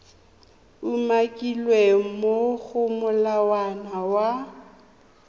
umakilweng mo go molawana wa